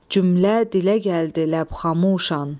Cümlə dilə gəldi ləb xamuşan.